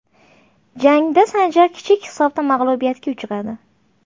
Jangda Sanjar kichik hisobda mag‘lubiyatga uchradi.